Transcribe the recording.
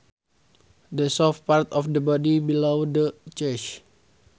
The soft part of the body below the chest